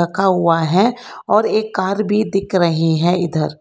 रखा हुआ है और एक कर भी दिख रही है इधर।